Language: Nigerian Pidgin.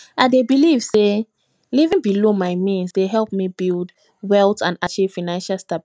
i dey believe say living below my means dey help me build wealth and achieve financial stability